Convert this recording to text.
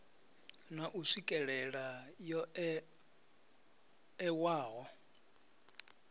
na u swikelela yo ewaho